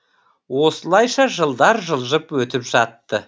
осылайша жылдар жылжып өтіп жатты